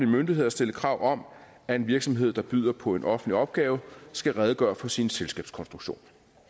myndigheder at stille krav om at en virksomhed der byder på en offentlig opgave skal redegøre for sin selskabskonstruktion